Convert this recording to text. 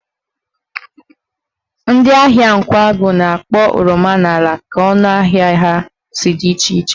Ndị ahịa Nkwagụ na-akpọ oroma n'ala ka ọnụ ahịa ha si dị iche iche